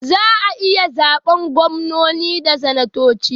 Za ayi zaɓen gwamnoni da sanatoci